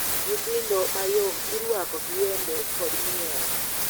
Nyithindo mayom irwako gi wende kod miel.